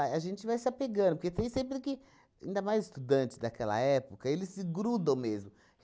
a gente vai se apegando, porque tem sempre que, ainda mais estudantes daquela época, eles se grudam mesmo.